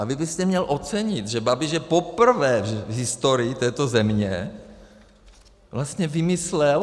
A vy byste měl ocenit, že Babiš je poprvé v historii této země... vlastně vymyslel...